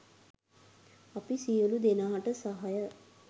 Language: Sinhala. අපි සියලු දෙනාට සහාය